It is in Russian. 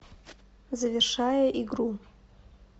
завершая игру